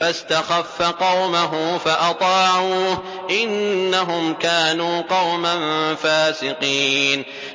فَاسْتَخَفَّ قَوْمَهُ فَأَطَاعُوهُ ۚ إِنَّهُمْ كَانُوا قَوْمًا فَاسِقِينَ